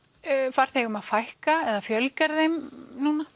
farþegum að fækka eða fjölgar þeim núna